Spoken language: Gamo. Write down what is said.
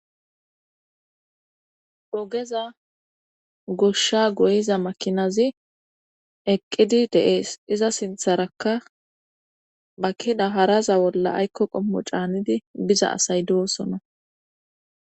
Ogeza goshsha goyiza makinazi eqqidi deees iza sintharakka bakina haraza bolla aykko qommo caanidi biza asay doosona.